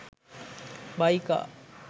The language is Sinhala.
buy car